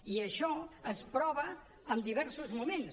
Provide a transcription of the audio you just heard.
i això es prova en diversos moments